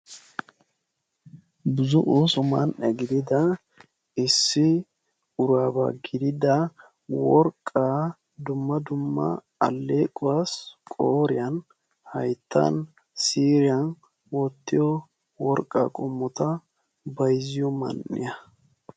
Buzzo ooso man'e gidida issi uraabaa gididda worqaa dumma dumma aleequwaa qooriyan hayttan siiriyan wottiyo worqaa qommota bayzziyo man'iya.